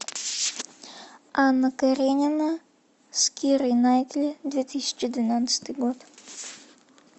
анна каренина с кирой найтли две тысячи двенадцатый год